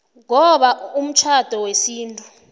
ngoba umtjhado wesintu